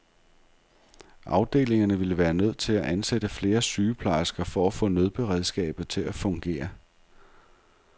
Afdelingerne ville være nødt til at ansætte flere sygeplejersker for at få nødberedskabet til at fungere.